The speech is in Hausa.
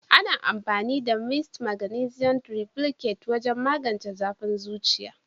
Ana amfani da "mist maganisium triplicate" wajen magance zafin zuciya.